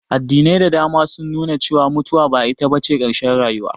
Addinai da dama sun nu na cewa mutuwa ba ita bace ƙarshen rayuwa